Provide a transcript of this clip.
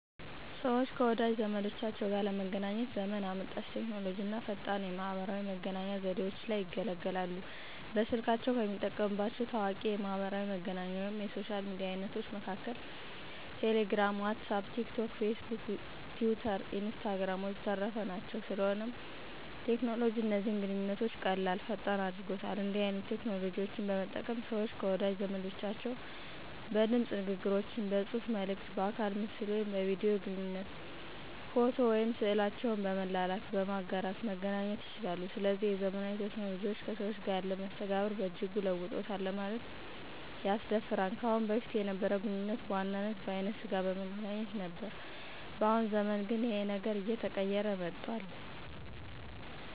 ሰወች ከወዳጅ ዘመዶቻቸው ጋር ለመገናኘት ዘመን አመጣሽ ቴክኖሎጂ አና ፈጣን የማህበራዊ መገናኛ ዘዴወችን ይገለገላሉ። በስልካቸው ከሚጠቀሙባቸው ታዋቂ የማሕበራዊ መገናኛ ወይም የሶሻል ሚዲያ አይነቶች መሀከል ቴሌግራም፣ ዋትስአፕ፣ ቲክ ቶክ፣ ፌስቡክ፣ ቲዊተር፣ ኢንስታግራም ወዘተረፈ ናቸው። ስለሆነም ቴክኖሎጂ እነዚህን ግንኙነቶች ቀላል፥ ፈጣን አድርጎታል። እንዲህን አይነት ቴክኖሎጂዎች በመጠቀም ሰወች ከወዳጅ ዘመዶቻቸው በድምጽ ንግግሮች፥ በጽሁፋ መልክት፥ በአካለ ምስል ወይም በቪዲዮ ግንኙነት፥ ፎቶ ወይም ስዕላቸውን በመላላክ፣ በማጋራት መገናኘት ይቻላሉ። ስለዚህም የዘመናዊ ቴክኖሎጂዎች ከሰዎች ጋር ያለንን መስተጋብር በእጅጉ ለውጦታል ለማለት ያስደፍራል። ከአሁን በፊት የነበረው ግንኙነት በዋናነት በአይነ ስጋ በመገናኘት ነበር በአሁኑ ዘመን ግን ይኸን ነገር አየተቀየረ መጧል።